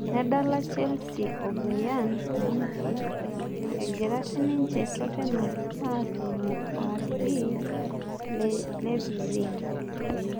Nedala chelsea o Bayern Munich egira sininche totenam aatumo o RB Leipzing